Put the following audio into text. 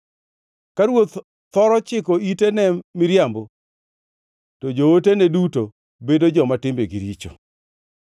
Ka ruoth thoro chiko ite ne miriambo, to jootene duto bedo joma timbegi richo.